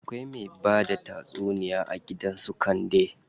Akwai me bada tatsuniya a gidan su Kande.